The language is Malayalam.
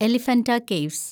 എലിഫന്റ കേവ്സ്